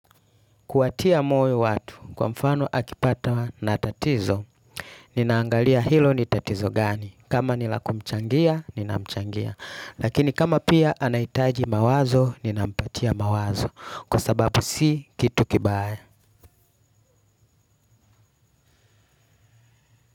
Kuwatia moyo watu, kwa mfano akipatawa na tatizo. Ninaangalia hilo ni tatizo gani. Kama nila kumchangia, ninachangia. Lakini kama pia anahitaji mawazo, ninampatia mawazo kwa sababu si kitu kibaya.